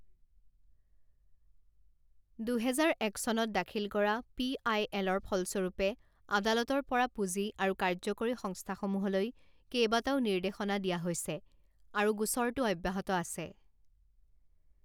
দুহেজাৰ এক চনত দাখিল কৰা পি আই এলৰ ফলস্বৰূপে আদালতৰ পৰা পুঁজি আৰু কাৰ্যকৰী সংস্থাসমূহলৈ কেইবাটাও নিৰ্দেশনা দিয়া হৈছে আৰু গোচৰটো অব্যাহত আছে।